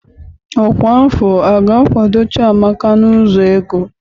Ọkwa afọ a ga-akwado Chiamaka n'ụzọ ego?